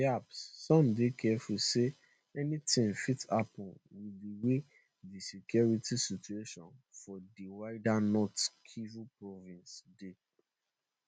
perhaps some dey careful say anytin fit happen with di way di security situation for di wider north kivu province dey